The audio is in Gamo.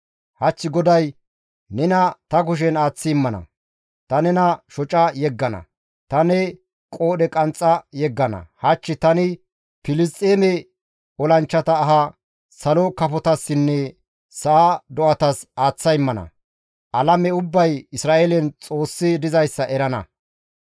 Hach GODAY nena ta kushen aaththi immana; ta nena shoca yeggana; ta ne qoodhe qanxxa yeggana; hach tani Filisxeeme olanchchata aha salo kafotassinne sa7a do7atas aaththa immana; alame ubbay Isra7eelen Xoossi dizayssa erana.